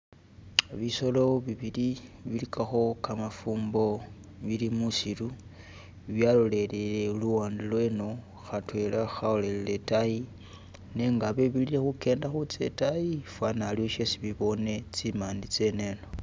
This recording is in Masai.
Bisolo bibili biligakho gamafumbo bili mwisiru byalolelele luwande lweno khatwela khalolele idayi nega bele bili khugenda khutsa idayi fana haliwo shesi bibone tsimade tseneno.